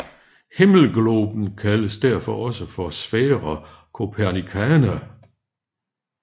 Himmelgloben kaldes derfor også for Sphaera Copernicana